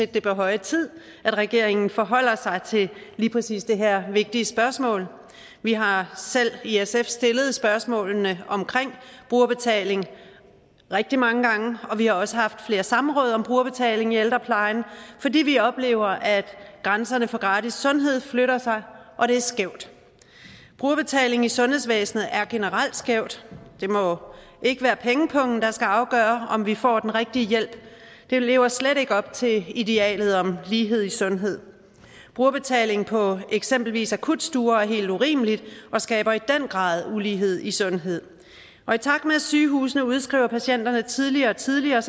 det er på høje tid at regeringen forholder sig til lige præcis det her vigtige spørgsmål vi har selv i sf stillet spørgsmålene om brugerbetaling rigtig mange gange og vi har også haft flere samråd om brugerbetaling i ældreplejen fordi vi oplever at grænserne for gratis sundhed flytter sig og det er skævt brugerbetaling i sundhedsvæsenet er generelt skævt det må ikke være pengepungen der skal afgøre om vi får den rigtige hjælp det lever slet ikke op til idealet om lighed i sundhed brugerbetaling for eksempelvis akutstuer er helt urimeligt og skaber i den grad ulighed i sundhed og i takt med at sygehusene udskriver patienterne tidligere og tidligere